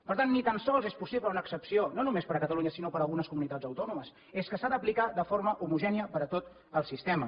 per tant ni tan sols és possible una excepció no només per a catalunya sinó per a algunes comunitats autònomes és que s’ha d’aplicar de forma homogènia per a tot el sistema